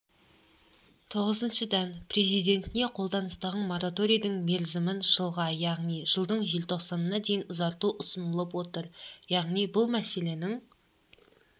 тоғызыншыдан президентіне қолданыстағы мораторийдің мерзімін жылға яғни жылдың желтоқсанына дейін ұзарту ұсынылып отыр яғни бұл мәселенің